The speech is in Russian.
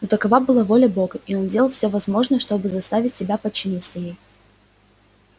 но такова была воля бога и он делал все возможное чтобы заставить себя подчиниться ей